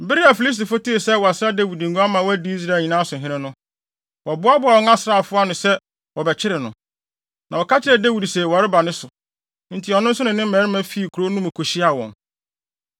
Bere a Filistifo tee sɛ wɔasra Dawid ngo ama wadi Israel nyinaa so hene no, wɔboaboaa wɔn asraafo nyinaa ano sɛ, wɔrebɛkyere no. Na wɔka kyerɛɛ Dawid se wɔreba ne so, enti ɔno nso ne ne mmarima fii kurow no mu kohyiaa wɔn.